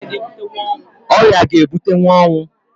Ọrịa ga ebutenwu ọnwụ